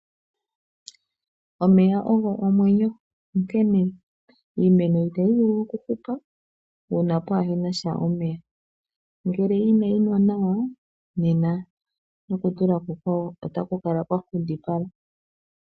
Omeya ogo omwenyo. Onkene iimeno itayi vulu okuhupa uuna kaapuna omeya. Ngele inayi nwa nawa nena nokuima kwawo otaku kala kwa nkundipala.